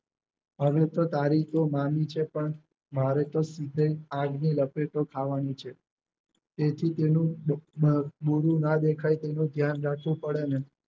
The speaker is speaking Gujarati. હવે તો તારોક્યો મામી છે પણ મારે તો સીધે આગની લપેટો થાવાની છે. તેથી તેનું બુરૂં ના દેખાય તેનું ધ્યાન રાખવું પડે ને